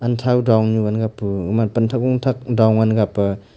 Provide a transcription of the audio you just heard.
thau dong nyu ngan na pu aman pan thak gung thak dong ang ga pa.